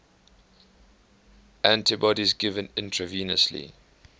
antibodies given intravenously